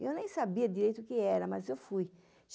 Eu nem sabia direito o que era, mas eu fui.